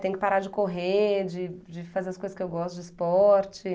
Tem que parar de correr, de de fazer as coisas que eu gosto, de esporte.